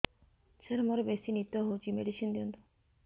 ସାର ମୋରୋ ବେସି ନିଦ ହଉଚି ମେଡିସିନ ଦିଅନ୍ତୁ